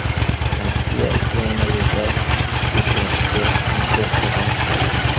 Rossiya Ukrainaga gaz yetkazib berishni to‘xtatadi.